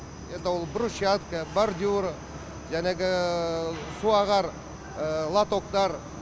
это ол брусчатка бордюра суағар лотоктар